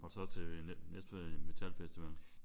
Var du så til Næstved Metalfestival?